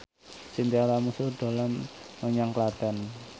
Chintya Lamusu dolan menyang Klaten